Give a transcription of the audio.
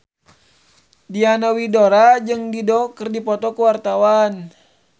Diana Widoera jeung Dido keur dipoto ku wartawan